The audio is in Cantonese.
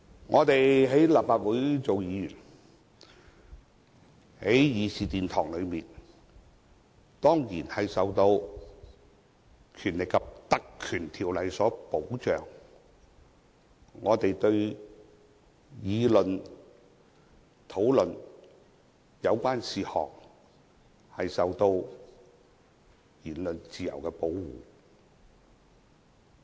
我們在立法會當議員，在議事堂上當然受到《立法會條例》的保障，我們議事時的言論自由受到保護。